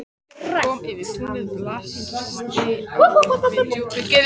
Þegar kom yfir túnið blasti áin við í djúpu gili.